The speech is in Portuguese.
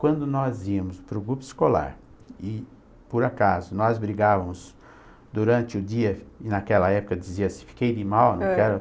Quando nós íamos para o grupo escolar, e, por acaso, nós brigávamos durante o dia, e naquela época dizia-se, fiquei de mal, não quero...